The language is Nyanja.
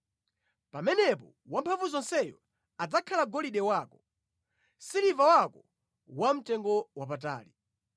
Pamenepo Wamphamvuzonseyo adzakhala golide wako, siliva wako wamtengowapatali.